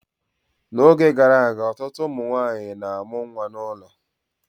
N'oge gara aga ọtụtụ ụmụ nwanyị na-amụ nwa n'ụlọ